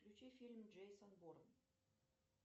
включи фильм джейсон борн